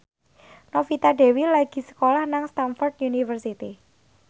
Novita Dewi lagi sekolah nang Stamford University